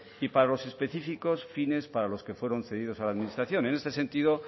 y para los específicos fines para los que fueron cedidos a la administración en este sentido